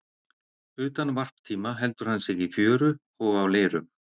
Utan varptíma heldur hann sig í fjöru og á leirum.